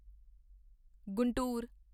Guntur